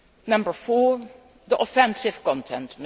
Number four offensive content.